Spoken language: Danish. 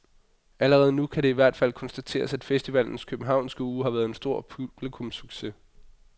Allerede nu kan det i hvert fald konstateres, at festivalens københavnske uge har været en stor publikumssucces.